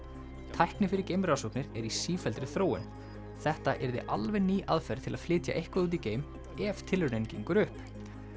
tækni fyrir geimrannsóknir er í sífelldri þróun þetta yrði alveg ný aðferð til að flytja eitthvað út í geim ef tilraunin gengur upp